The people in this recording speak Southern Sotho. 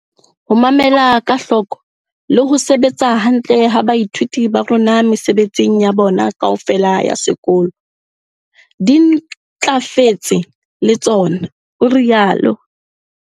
Ho mamela ka hloko le ho sebetsa hantle ha baithuti ba rona mesebetsing ya bona kaofela ya sekolo di ntlafetse le tsona, o rialo.